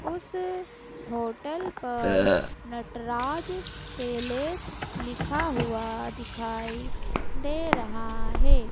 उस होटल पर नटराज पैलेस लिखा हुआ दिखाई दे रहा है।